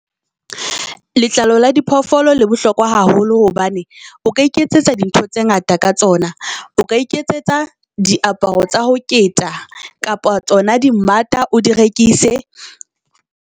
Letlalo la diphoofolo le bohlokwa haholo, hobane o ka iketsetsa di ntho tse ngata ka tsona. O ka iketsetsa diaparo tsa ho keta kapa tsona di mmata o di rekise.